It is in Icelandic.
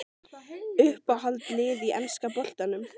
Uppáhald lið í enska boltanum?